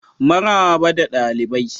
Maraba da dalibai.